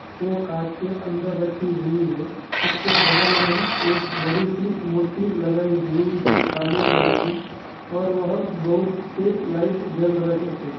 वो काँच के अंदर रखी हुई है| उसके बगल में एक बड़ी-सी मूर्ति लगाई हुई है काले रंग की और वहाँ बोहोत से लाइट जल रहे हैं।